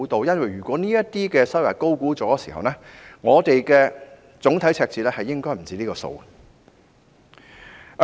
如果這些收入被高估，總體赤字應該不止上述的數目。